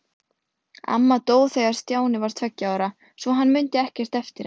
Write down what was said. Amma dó þegar Stjáni var tveggja ára, svo hann mundi ekkert eftir henni.